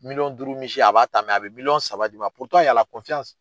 Miliyɔn duuru misi a b'a ta a bɛ miliyɔn saba d'i ma